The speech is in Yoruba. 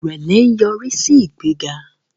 irẹlẹ nyorisi sí ìgbéga